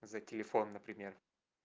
за телефон например